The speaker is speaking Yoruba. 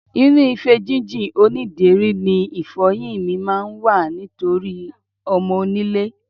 Inú ife jínjìn onídèéri ni ìfo̩yín mi máa ń wà nítorí o̩mo̩-onílé.